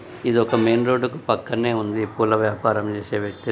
ఇది ఒక main road కి పక్కనే ఉంది. పూల వ్యాపారం చేసే వ్యక్తిది.